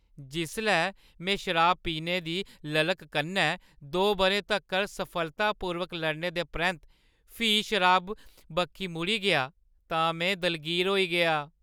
जिसलै में शराब पीने दी ललक कन्नै दो बʼरें तक्कर सफलतापूर्वक लड़ने दे परैंत्त फ्ही शराबै बक्खी मुड़ी गेआ तां में दलगीर होई गेआ।